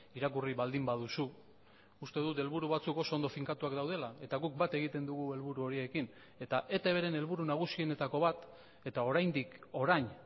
irakurri baldin baduzu uste dut helburu batzuk oso ondo finkatuak daudela eta guk bat egiten dugu helburu horiekin eta etbren helburu nagusienetako bat eta oraindik orain